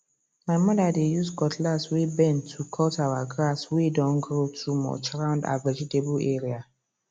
my mother dey use cutlass way bend to cut our grass way don grow too much round her vegetable area